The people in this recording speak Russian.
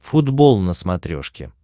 футбол на смотрешке